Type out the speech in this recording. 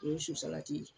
O ye su salati ye